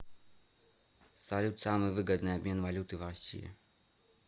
салют самый выгодный обмен валюты в россии